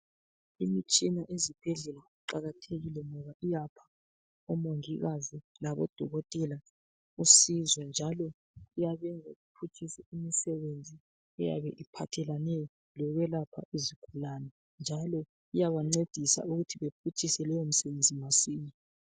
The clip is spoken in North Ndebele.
Imitshina yezibhedlela iqakathekile ngoba iyapha omongikazi labodokotela usizo njalo iyabenza bephutshise imisebenzi eyabe iphathelane lokwelapha izigulane njalo iyabancedisa ukuthi bephutshise leyo misebenzi masinya.